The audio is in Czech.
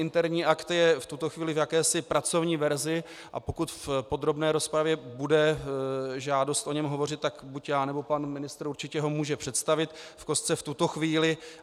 Interní akt je v tuto chvíli v jakési pracovní verzi, a pokud v podrobné rozpravě bude žádost o něm hovořit, tak buď já, nebo pan ministr určitě ho můžeme představit v kostce v tuto chvíli.